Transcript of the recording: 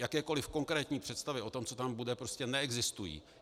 Jakékoliv konkrétní představy o tom, co tam bude, prostě neexistují.